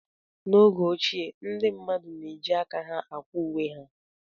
N'oge ochie, ndị mmadụ na-eji aka ha akwa uwe ha.